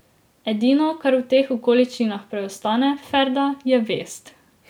Edino, kar v teh okoliščinah preostane, Ferda, je vest.